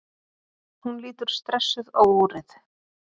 Hún lítur stressuð á úrið.